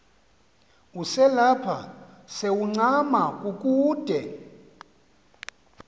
uselapha sewuncama kukude